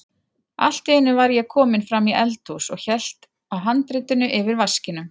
Allt í einu var ég kominn fram í eldhús og hélt á handritinu yfir vaskinum.